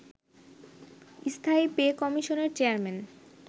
স্থায়ী পেকমিশনের চেয়ারম্যান